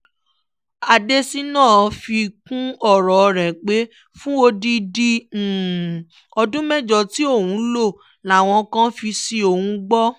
adésínà fi kún ọ̀rọ̀ rẹ̀ pé fún odidi ọdún mẹ́jọ tí òun lò làwọn kan fi ṣí òun gbọ́